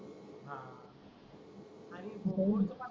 हा आणि बोर च पानी